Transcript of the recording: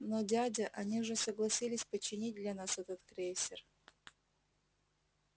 но дядя они же согласились починить для нас этот крейсер